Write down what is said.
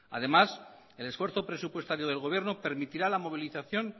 además el esfuerzo presupuestario del gobierno permitirá la movilización